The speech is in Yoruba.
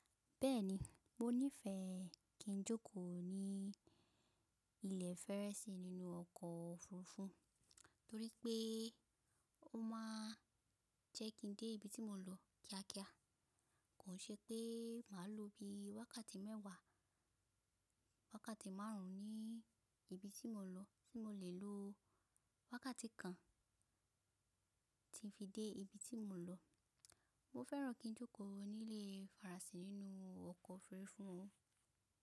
Bẹ́ẹ̀ni, mo nífẹẹ kí n jókòó ní ilẹ̀ Ferensi nínú ọkọ̀ òfurufú torí pé ó máa jẹ́ kí n dé ibi tí mo ń lọ kíákíá. Kò n ṣe pé màá lo bí i wákàtí mẹ́wàá, wákàtí márùn ún ní ibi tí mo lọ tí mo lè lo wákàtí kan ti fi dé ibi tí mo ń lọ. Mo fẹ́ràn kí n jókòó ní ilẹ̀ ferensé nínú ọkọ̀ òfurufú.